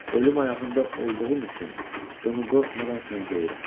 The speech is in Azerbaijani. Ölüm ayağında olduğum üçün bunu qorxmadan sənə deyirəm.